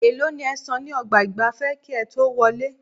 Èèló ni ẹ san ní ọgbà ìgbafẹ́ kí ẹ tó wọlé?